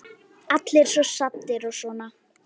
Allir svo saddir og svona.